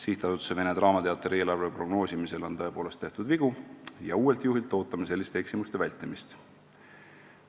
" Sihtasutuse Vene Teater eelarve prognoosimisel on tõepoolest tehtud vigu ja uuelt juhilt ootame selliste eksimuste vältimist.